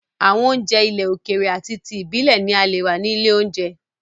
Àwọn oúnjẹ ilẹ̀ òkèrè ati ti ibilẹ̀ ni a leè rà ní ilé oúnjẹ.